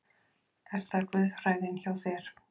Er það guðfræðin hjá þér?